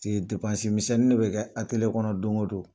paseke depansi misɛnni de bɛ kɛ ateliye kɔnɔ don o don